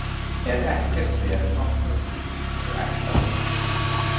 En ekkert fer nokkurn tímann eins og ætlað er.